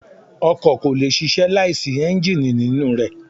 Ọkọ̀ kò lè ṣíṣe láìsí Ẹ́ńjíìnì nínú rẹ.